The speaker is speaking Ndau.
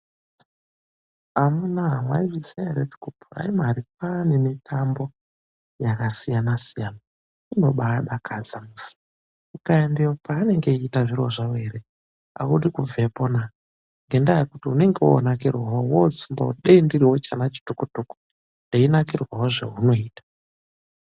Amunaa mwaizviziya ere kuti kupuraimari kwaane ñemitambo yakasiyana siyana. Kunobaa dakadza. Ukaendeyo paanenge vechiita zviro zvavo ere audi kubvepona ngendaa yekuti unenge wonakirwawo wotsumbawo kuti dei ndiriwo chana chitoko toko ndeinakirwawo zvehunoita